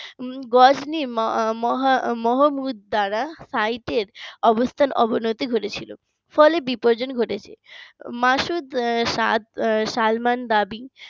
গজনীর ম ম মোহাম্মদ দাঁড়া সাইটের অবস্থান অভন্যতি ঘটেছিল ফলে বিপর্জন ঘটেছে মাসুদ স্বাদ সালমান দাবি